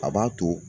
A b'a to